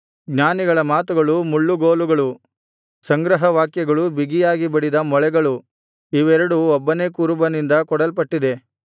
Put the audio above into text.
ಜ್ಞಾನಿಗಳ ಮಾತುಗಳು ಮುಳ್ಳುಗೋಲುಗಳು ಸಂಗ್ರಹ ವಾಕ್ಯಗಳು ಬಿಗಿಯಾಗಿ ಬಡಿದ ಮೊಳೆಗಳು ಇವೆರಡು ಒಬ್ಬನೇ ಕುರುಬನಿಂದ ಕೊಡಲ್ಪಟ್ಟಿದೆ